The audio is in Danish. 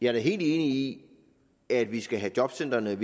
er da helt enig i at vi skal have jobcentrene